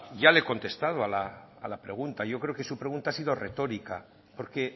ya le he contestado a la pregunta yo creo que su pregunta ha sido retórica porque